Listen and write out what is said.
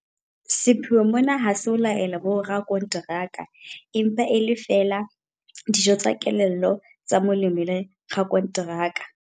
Sepheo mona ha se ho laela borakonteraka, empa e le feela 'dijo tsa kelello tsa molemi le rakonteraka.